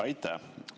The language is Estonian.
Aitäh!